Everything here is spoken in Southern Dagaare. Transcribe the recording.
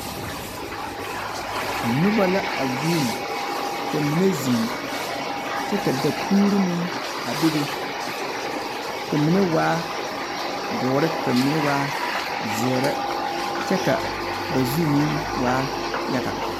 Noba la a guuni, ka mine zeŋ. Kyɛ ka dapuuri meŋ a bebe. Ka mine waa doɔre, kamine waa zeere. Kyɛ ka ba zu meŋ waa yaga.